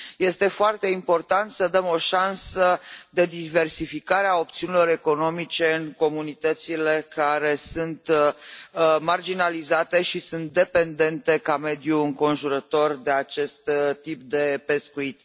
Este foarte important să dăm o șansă de diversificare a opțiunilor economice în comunitățile care sunt marginalizate și sunt dependente ca mediu înconjurător de acest tip de pescuit.